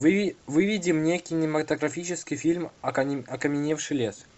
выведи мне кинематографический фильм окаменевший лес